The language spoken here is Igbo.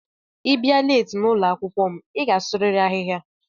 Ibia leeti n'ụlọakwụkwọ m i ga-asuriri ahịhịa.